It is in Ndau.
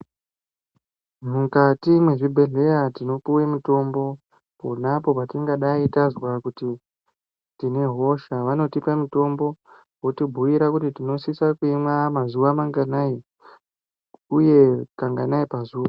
Mukati mwezvibhedhleya tinopuve mutombo ponapo patingadai tazwa kuti tinehosha. Vanotipa mutombo votibhuira kuti tinosisa kuimwa mazuva manganai, uye kanganai pazuva.